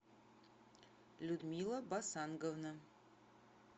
людмила басанговна